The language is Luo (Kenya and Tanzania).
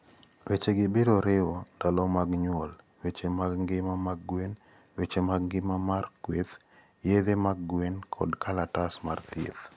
Wechegi biro riwo; Ndalo mag nyuol, weche mag ngima mag gwen, weche mag ngima mar kweth, yedhe mag gwen kod kalatas mar thieth.